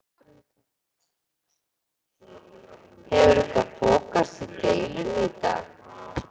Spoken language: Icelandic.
Hefur eitthvað þokast í deilunni í dag?